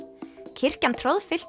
kirkjan